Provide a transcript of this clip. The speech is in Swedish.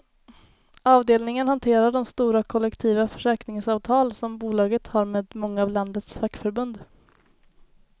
Avdelningen hanterar de stora kollektiva försäkringsavtal som bolaget har med många av landets fackförbund.